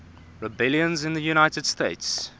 rebellions in the united states